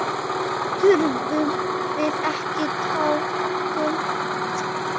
Þurfum við ekki talkúm?